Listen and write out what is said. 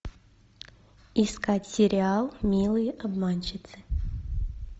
искать сериал милые обманщицы